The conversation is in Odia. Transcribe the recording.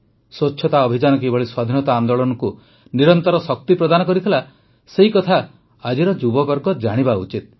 ସ୍ୱଚ୍ଛତା ଅଭିଯାନ କିଭଳି ସ୍ୱାଧୀନତା ଆନ୍ଦୋଳନକୁ ନିରନ୍ତର ଶକ୍ତି ପ୍ରଦାନ କରିଥିଲା ସେକଥା ଆଜିର ଯୁବବର୍ଗ ଜାଣିବା ଉଚିତ